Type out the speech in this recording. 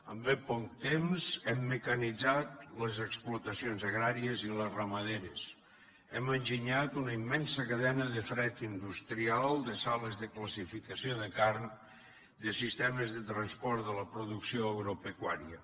en ben poc temps hem mecanitzat les explotacions a gràries i les ramaderes hem enginyat una immen sa cadena de fred industrial de sales de classificació de carn de sistemes de transport de la producció agropecuària